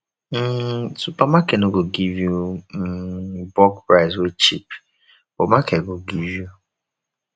um supermarket no fit give yu um bulk price wey cheap but market go give yu